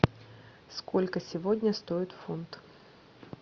сколько сегодня стоит фунт